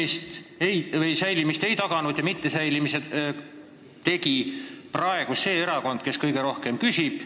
Selle säilimist ei taganud see erakond, kes siin praegu kõige rohkem küsib.